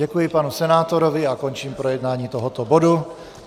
Děkuji panu senátorovi a končím projednání tohoto bodu.